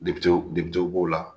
b'o la